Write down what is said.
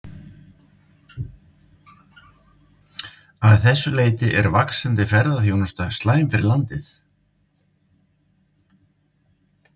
Að þessu leyti er vaxandi ferðaþjónusta slæm fyrir landið.